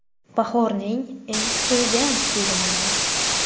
Bahorning eng kutilgan filmlari.